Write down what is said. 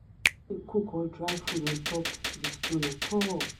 no dey cook or dry food on top di stone at all.